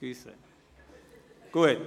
Entschuldigung.